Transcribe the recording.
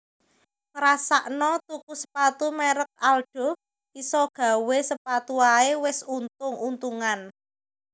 Ngrasakno tuku sepatu merk Aldo isok gawe sepatu ae wes untung untungan